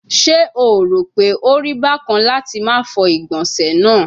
Se o ro pe ori bakan lati ma fọ igbonse naa